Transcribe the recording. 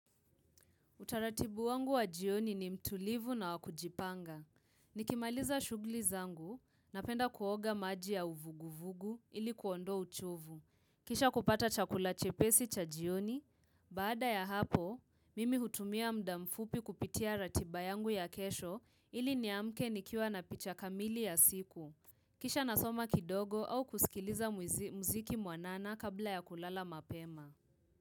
Utaratibu wangu wa jioni ni mtulivu na wakujipanga. Nikimaliza shugli zangu na penda kuoga maji ya uvuguvugu ili kuondo uchovu. Kishakupata chakula chepesi cha jioni. Baada ya hapo, mimi hutumia mda mfupi kupitia ratiba yangu ya kesho ili niamke nikiwa na picha kamili ya siku. Kisha nasoma kidogo au kusikiliza muziki mwanana kabla ya kulala mapema.